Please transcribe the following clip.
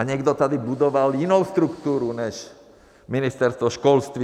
A někdo tady budoval jinou strukturu než Ministerstvo školství.